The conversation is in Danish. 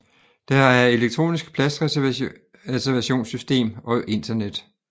Der er elektronisk pladsreservationssystem og internet